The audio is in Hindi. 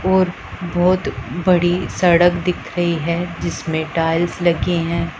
और बहुत बड़ी सड़क दिख रही है जिसमें टाइल्स लगी हैं।